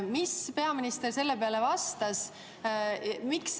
Mis peaminister selle peale vastas?